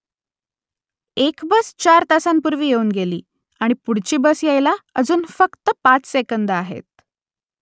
एक बस चार तासांपूर्वी येऊन गेली आणि पुढची बस यायला अजून फक्त पाच सेकंदं आहेत